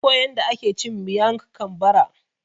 Na koya yanda ake cin Miang kam bara